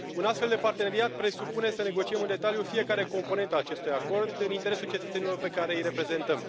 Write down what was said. Un astfel de parteneriat presupune să negociem în detaliu fiecare componentă a acestui acord, în interesul cetățenilor pe care îi reprezentăm.